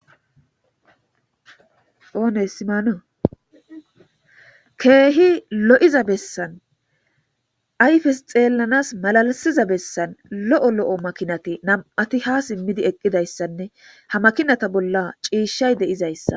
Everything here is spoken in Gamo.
oone simaanu keehi lo'iza bessan ayfes xeellanas malalisiza bessan lo'o lo'o makinati nam7ati ha simmidi eqqidayssanne ha makinata bolla ciishay de'izayssa